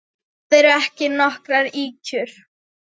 Það eru ekki nokkrar ýkjur.